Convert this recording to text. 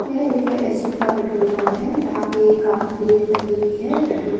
यह एक एच_पी का पेट्रोल पंप है यहां पे काफी भीड़ लगी हुई है पेट्रोल --